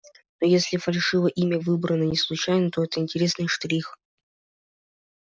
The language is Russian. но если фальшивое имя выбрано не случайно то это интересный штрих